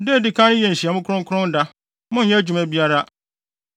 Da a edi kan no yɛ nhyiamu kronkron da; monnyɛ adwuma biara.